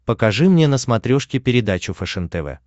покажи мне на смотрешке передачу фэшен тв